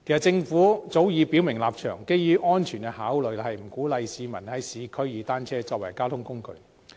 政府早已表明立場，基於安全考慮，不鼓勵市民在市區利用單車作為交通工具。